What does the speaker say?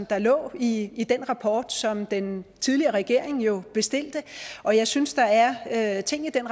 der ligger i i den rapport som den tidligere regering jo bestilte og jeg synes bestemt der er ting i den